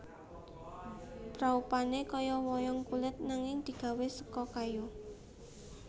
Praupane kaya wayang kulit nanging digawé seka kayu